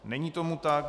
Není tomu tak.